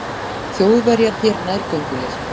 Þjóðverjar hér nærgöngulir.